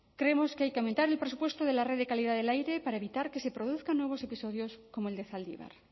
creemos que hay que aumentar el presupuesto de la red de calidad del aire para evitar que se produzcan nuevos episodios como el de zaldibar